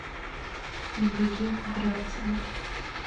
евдокия кудрявцева